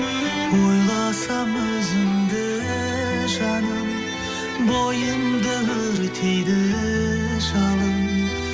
ойласам өзіңді жаным бойымды өртейді жалын